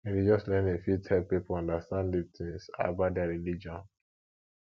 religious learning fit help pipo understand deep things about their religion